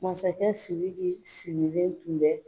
Masakɛ SIRIKI sigileN tun bɛ.